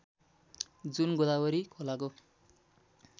जुन गोदावरी खोलाको